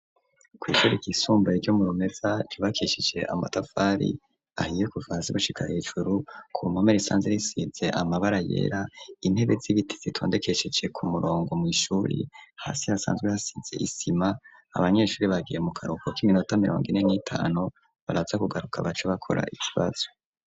Kw'ishure ry'isumbuye ryo mu rumeza ryubakishije amatafari ahiye kuva hasi gushika hejuru ku mpome hasanzwe hasize amabara yera intebe z'ibiti zitondekesheje ku murongo mw'ishure hasi hasanzwe hasize isima abanyeshure bagiye mu karuko k'iminota mirongo ine n'itanu baraza kugaruka baco bakora ikibazo.